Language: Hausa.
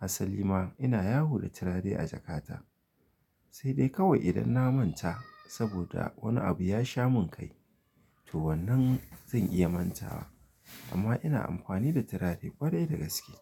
Assali ma ina yawo da turare a jakata. Sai dai kawai idan na manta saboda wani abu ya sha mun kai, to wannan zan iya manta wa. Amma ina amfani da turare kwarai da gaske.